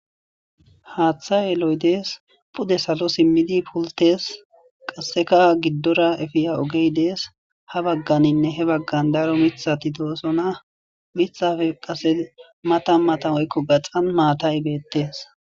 Haaththa yeloy dees pude salo simmidi pultes qasseka giddora efiya ogey dees ha bagganinne he baggan daro mithati doosona mithafe qase mata matam oykko baxan maatay beettes.